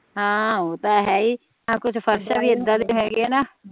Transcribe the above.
ਹਮ ਉਹ ਤਾ ਹੈ ਹੀ ਆ ਕੁਜ ਫਰਸ਼ ਵੀ ਏਦਾਂ ਦੇ ਹੈਗੇ ਆ ਨਾ